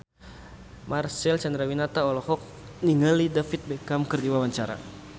Marcel Chandrawinata olohok ningali David Beckham keur diwawancara